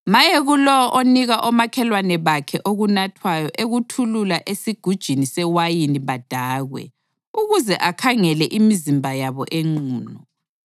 Maye kulowo onika omakhelwane bakhe okunathwayo ekuthulula esigujini sewayini badakwe, ukuze akhangele imizimba yabo enqunu.